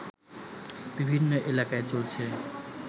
বিভিন্ন এলাকায় চলছে